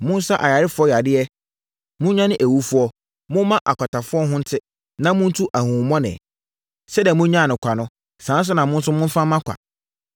Monsa ayarefoɔ yadeɛ, monnyane awufoɔ, momma akwatafoɔ ho nte, na montu ahonhommɔne. Sɛdeɛ monyaa no kwa no, saa ara na mo nso momfa mma kwa.